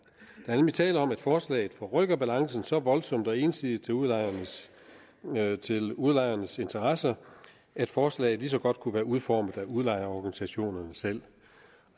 er nemlig tale om at forslaget forrykker balancen så voldsomt og ensidigt til udlejernes til udlejernes interesser at forslaget lige så godt kunne være udformet af udlejerorganisationerne selv